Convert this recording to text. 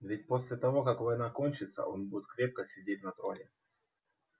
ведь после того как война кончится он будет крепко сидеть на троне